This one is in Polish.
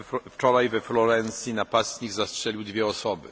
Wczoraj we Florencji napastnik zastrzelił dwie osoby.